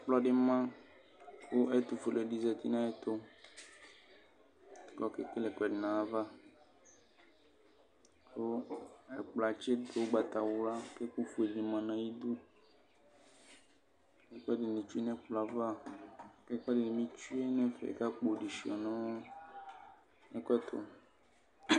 Ɛkplɔ di ma kʋ ɛtʋfuele di zati nʋ ayɛtʋ kʋ ɔkekele ɛkʋɛdi nʋ ayava kʋ ɛkplɔɛ atsidʋ ʋgbatawla kʋ ɛkʋɛdi manʋ ayidʋ ɛkʋɛdini tsue nʋ ɛkplɔɛ ava kʋ ɛkʋedini tsʋe nʋ ɛfɛ kʋ akpo dibi suia nʋ ɛkʋ ɛtʋ